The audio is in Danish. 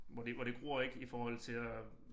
Hvor det hvor det gror ik i forhold til at